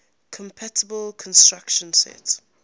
compatible instruction set